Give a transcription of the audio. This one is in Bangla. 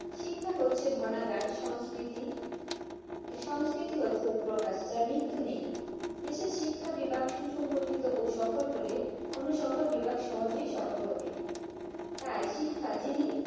শিক্ষা হ্চ্ছে ধনাগার সাংস্কিতি এই সাংস্কিতি একপ্রকার মৃর্তু নেই দেশের কি শিক্ষা সফল হলে অন্য সকল তাই শিক্ষা যিনি